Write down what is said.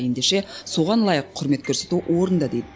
ендеше соған лайық құрмет көрсету орынды дейді